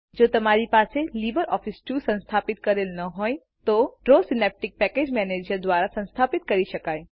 જો તમારી પાસે લીબરઓફીસ સ્યુટ સંસ્થાપિત કરેલ ન હોય તો ડ્રો સીનેપ્ટીક પેકેજ મેનેજર દ્વારા સંસ્થાપિત કરી શકાય